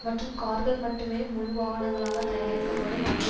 மற்றும் கார்கள் மட்டுமே முழு வாகனங்களாக தயாரிக்கப்படும் அதே